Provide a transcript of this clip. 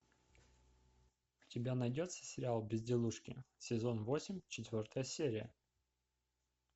у тебя найдется сериал безделушки сезон восемь четвертая серия